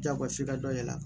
Jagosi ka dɔ yɛlɛ a kan